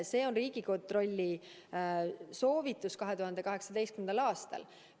" See on Riigikontrolli soovitus 2018. aastal.